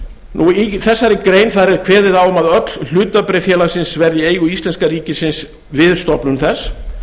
reit í þessari grein er kveðið á um að öll hlutabréf félagsins verði í eigu íslenska ríkisins við stofnun þess